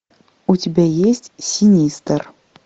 у тебя есть синистер